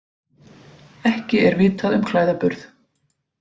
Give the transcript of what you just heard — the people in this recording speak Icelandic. Ekki er vitað um klæðaburð